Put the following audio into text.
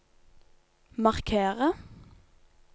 markere